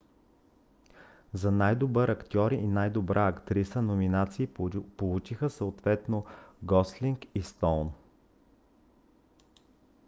за най-добър актьор и най-добра актриса номинации получиха съответно гослинг и стоун